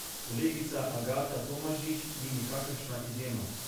Kolegica Agata Tomažič ni nikakršna izjema.